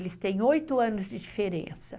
Eles têm oito anos de diferença.